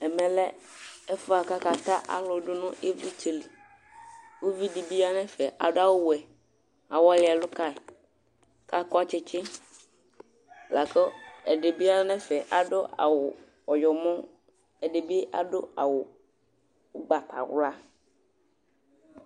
Ɛmɛlɛ ɛfʋ yɛ bʋakʋ akata alʋ dʋnʋ ivlitsɛli Ʋvidi bi yanʋ ɛfɛ adʋ awʋwɛ awɔli ɛlʋka kʋ akɔ tsitsi, lakʋ ɛdibi yanʋ ɛfɛ adʋ awʋ ɔyɔmɔ Ɛdibi adʋ awʋ ʋgbatawla